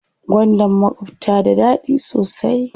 Gwandan makwabta da daɗi sosai.